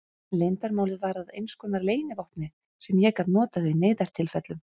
Leyndarmálið varð að einskonar leynivopni sem ég gat notað í neyðartilfellum.